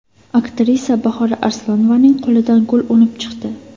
Aktrisa Bahora Arslonovaning qo‘lidan gul unib chiqdi.